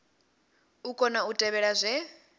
u kona u tevhela zwe